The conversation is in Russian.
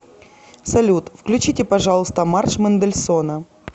салют включите пожалуйста марш мендельсона